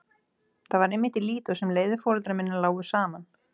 Það var einmitt í Lídó sem leiðir foreldra minna lágu saman.